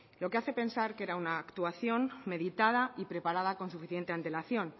lo que hace pensar que era una actuación meditada y preparada con suficiente antelación